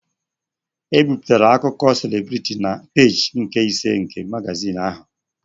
E bipụtara akụkọ selebritị na peejị nke ise nke magazin ahụ.